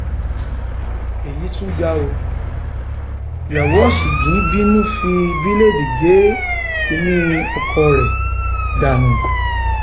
èyí tún ga ọ um ìyàwó ọsígun bínú fi bíléèdì gé kínní ọkọ rẹ um dànù